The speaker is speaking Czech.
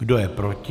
Kdo je proti?